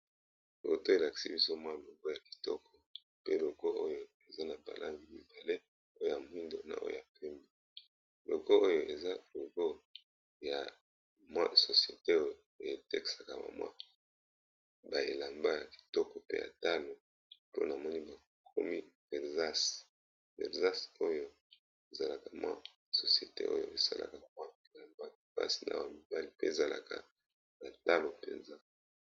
Foto oyo elakisi biso logo ya kitoko eza na balangi mibale ya moyindo naya pembe eza société etekaka bilamba ya ba dame bakomi VERSACE basalaka bilamba ya basi na mibali pe ezalaka malamu penza.